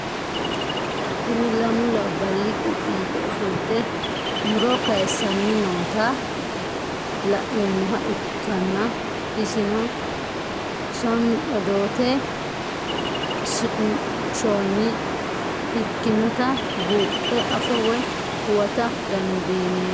Kuni lamu labali qupi yite afolote muro kayisani noota la'nemoha ikana isino smn oddote siqonshonire ikinotabuxe afa woyi huwata dandinemo?